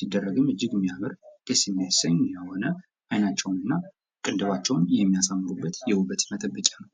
ሲደረግም እጅግ የሚያምር ደስ የሚያሰኝ የሆነ አይናቸውን እና ቅንድባቸውን የሚያሳምሩበት የውበት መጠበቂያ ነው።